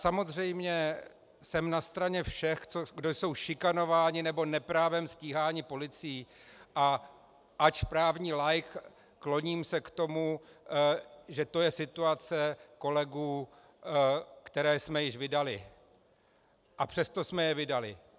Samozřejmě jsem na straně všech, kdo jsou šikanováni nebo neprávem stíháni policií, a ač právní laik, kloním se k tomu, že to je situace kolegů, které jsme již vydali, a přesto jsme je vydali.